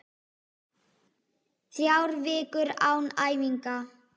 Þrjár vikur án æfinga?